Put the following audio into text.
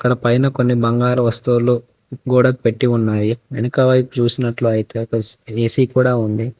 ఇక్కడ పైన కొన్ని బంగారు వస్తువులు గోడకు పెట్టి ఉన్నాయి వెనుకవైపు చూసినట్లు అయితే ఏసీ కూడా ఉంది.